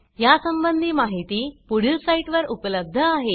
यासंबंधी माहिती पुढील साईटवर उपलब्ध आहे